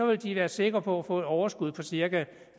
vil de være sikre på at få et overskud på cirka